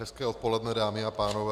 Hezké odpoledne, dámy a pánové.